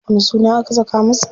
Wani suna aka saka masa?